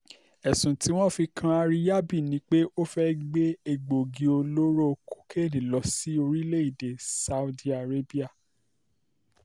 ẹ̀sùn tí wọ́n fi kan àríyábì ni pé ó fẹ́ẹ́ gbé egbòogi olóró kokéènì lọ sórílẹ̀‐èdè saudi arabia